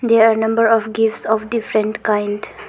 There are a number of gifts of different kind.